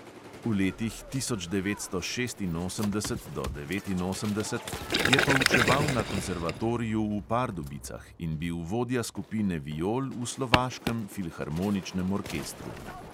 V letih od tisoč devetsto šestinosemdeset do devetinosemdeset je poučeval na konzervatoriju v pardubicah in bil vodja skupine viol v slovaškem filharmoničnem orkestru.